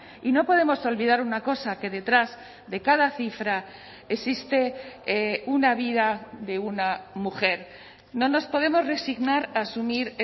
y no podemos olvidar una cosa que detrás de cada cifra existe una vida de una mujer no nos podemos resignar a asumir